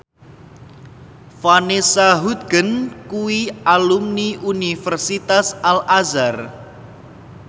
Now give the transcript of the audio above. Vanessa Hudgens kuwi alumni Universitas Al Azhar